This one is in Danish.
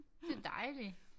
Det dejligt